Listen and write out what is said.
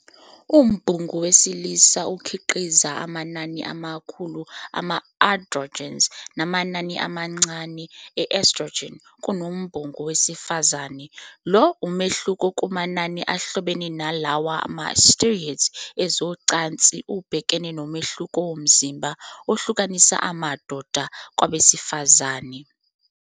Umbungu wesilisa ukhiqiza amanani amakhulu ama- androgens namanani amancane ama- estrogens kunombungu wesifazane. Lo mehluko kumanani ahlobene nalawa ma- steroids ezocansi ubhekene nomehluko womzimba ohlukanisa amadoda kwabesifazane.